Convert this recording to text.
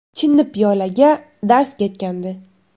Chinni piyolaga darz ketgandi.